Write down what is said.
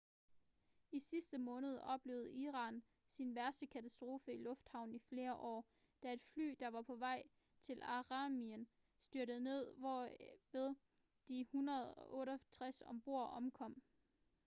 i sidste måned oplevede iran sin værste katastrofe i luften i flere år da et fly der var på vej til armenien styrtede ned hvorved de 168 ombord omkom